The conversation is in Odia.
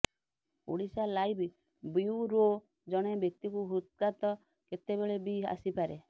ଓଡ଼ିଶାଲାଇଭ୍ ବ୍ୟୁରୋ ଜଣେ ବ୍ୟକ୍ତିକୁ ହୃଦଘାତ କେତେବେଳେ ବି ଆସିପାରେ